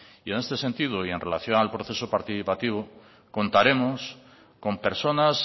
y en este sentido y en relación al proceso participativo contaremos con personas